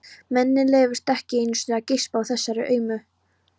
Manni leyfist ekki einu sinni að geispa á þessari aumu